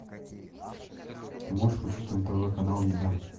ты можешь включить на тв канал еда